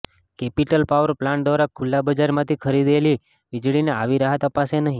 capital power plant દ્વારા ખુલ્લા બજારમાંથી ખરીદેલી વીજળીને આવી રાહત અપાશે નહીં